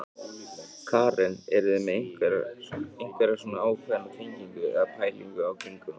Karen: Eruð þið með einhverja svona ákveðna tengingu eða pælingu í kringum það?